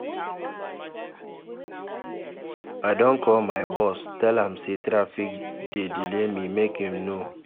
I don call my boss, tell am sey traffic dey delay me, make im know